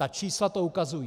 Ta čísla to ukazují.